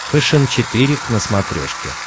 фэшен четыре к на смотрешке